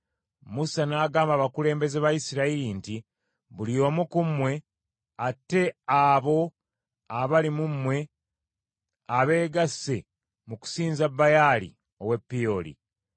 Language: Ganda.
Musa n’agamba abalamuzi ba Isirayiri nti, “Buli omu ku mmwe atte abo abali mu mmwe abeegasse mu kusinza Baali ow’e Peoli.”